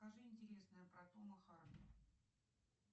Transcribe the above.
покажи интересное про тома харди